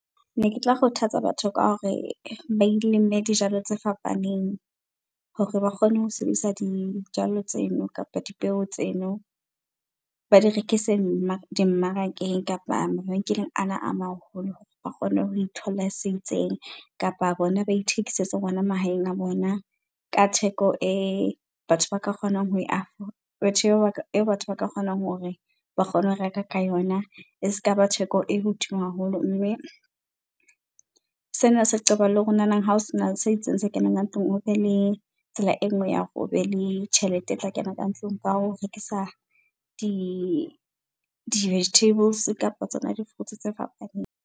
Ne ke tla kgothatsa batho ka hore ba ile, mme dijalo tse fapaneng hore ba kgone ho sebedisa dijalo tseno kapa dipeo tseno. Ba di rekise dimmarakeng kapa mabenkeleng ana a maholo, ba kgone ho itholla se itseng kapa bona ba ithekisetse hona mahaeng a bona ka theko e batho ba ka kgonang ho e , batho , e batho ba ka kgonang hore ba kgone ho reka ka yona, e skaba theko e hodimo haholo. Mme, sena se qoba le hore nanang hao sena se itseng se kenang ka tlung, o be le tsela e nngwe ya ho be le tjhelete e tla kena ka ntlong ka ho rekisa di-vegetables kapa tsona di-fruits tse fapaneng.